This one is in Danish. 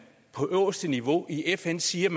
på øverste niveau i fn siger